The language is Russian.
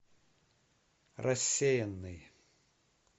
рассеянный